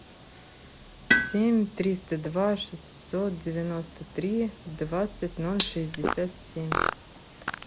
семь триста два шестьсот девяносто три двадцать ноль шестьдесят семь